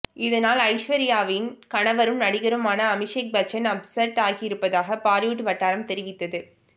இதனால் ஐஸ்வர்யாவின் கணவரும் நடிகருமான அபிஷேக் பச்சன் அப்செட் ஆகியிருப்பதாக பாலிவுட் வட்டாரம் தெரிவித்தது